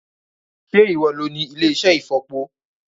Sé ìwo lo ní ilé-iṣẹ́ ìfọ̀po?